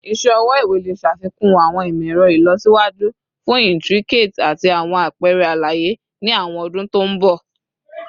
Iṣẹ ọwọ iwe le ṣafikun awọn imọ-ẹrọ ilọsiwaju fun intricate ati awọn apẹrẹ alaye ni awọn ọdun to nbọ